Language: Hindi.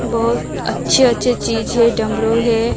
बहोत अच्छे अच्छे चीज है डमरू है।